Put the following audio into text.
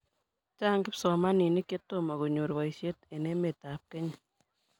Chang' kipsomaninik chetomo konyor boishet eng emetab ab Kenya